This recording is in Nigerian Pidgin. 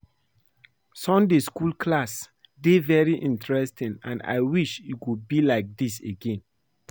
Sunday school class dey very interesting and I wish e go be like dis again